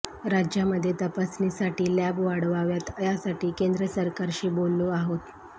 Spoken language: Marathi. राज्यामध्ये तपासणीसाठी लॅब वाढवाव्यात यासाठी केंद्र सरकारशी बोललो आहोत